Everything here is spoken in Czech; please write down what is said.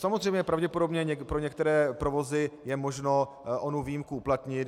Samozřejmě pravděpodobně pro některé provozy je možno onu výjimku uplatnit.